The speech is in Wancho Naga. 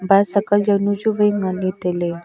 basacal jaunu chu vai nganley tailey.